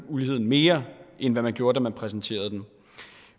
uligheden mere end man gjorde da man præsenterede den